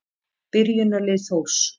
Byrjunarlið Þórs.